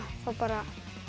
þá bara